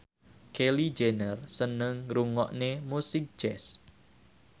Kylie Jenner seneng ngrungokne musik jazz